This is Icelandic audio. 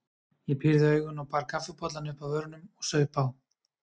Ég pírði augun og bar kaffibollann upp að vörunum og saup á.